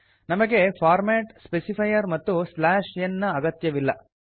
ನಮಗೆ format specifier ಮತ್ತು slash n ನ ಅಗತ್ಯವಿಲ್ಲ